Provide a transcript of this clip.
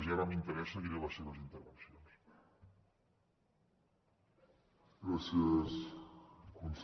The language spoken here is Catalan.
i ara amb interès seguiré les seves intervencions